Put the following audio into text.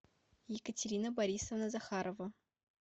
екатерина борисовна захарова